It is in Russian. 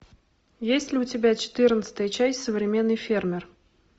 есть ли у тебя четырнадцатая часть современный фермер